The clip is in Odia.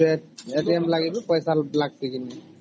ସେ ଲାଗି କି ପଇସା ଲାଗଛେ